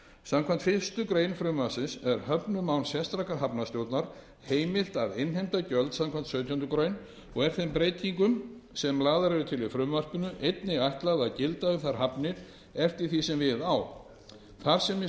samkvæmt fyrstu grein frumvarpsins er höfnum án sérstakrar hafnarstjórnar heimilt að innheimta gjöld samkvæmt sautjándu grein og er þeim breytingum sem lagðar eru til í frumvarpinu einnig ætlað að gilda um þær hafnir eftir því sem við á þar sem í